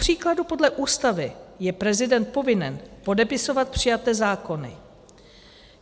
Kupříkladu podle Ústavy je prezident povinen podepisovat přijaté zákony.